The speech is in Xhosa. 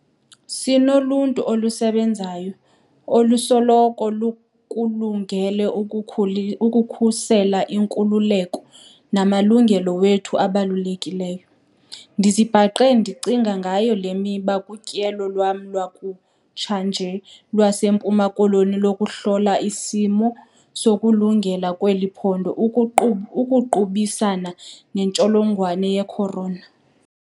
Sinoluntu olusebenzayo olusoloko lukulungele ukukhusela iinkululeko namalungelo wethu abalulekileyo. Ndizibhaqe ndicinga ngayo le miba kutyelo lwam lwakutsha nje lwaseMpuma Koloni lokuhlola isimo sokulungela kweli phondo ukuqubisana nentsholongwane ye-corona.